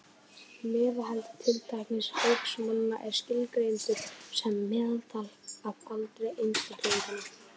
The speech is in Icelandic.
Meðalaldur tiltekins hóps manna er skilgreindur sem meðaltal af aldri einstaklinganna.